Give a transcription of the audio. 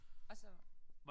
Og så